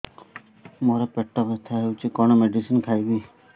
ମୋର ପେଟ ବ୍ୟଥା ହଉଚି କଣ ମେଡିସିନ ଖାଇବି